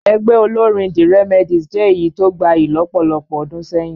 Ẹgbẹ́ olórín the Remedies jẹ́ èyí tó gbayì lọ́pọ̀lọpọ̀ ọdún sẹ́yìn